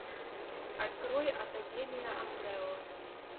открой академия амбрелла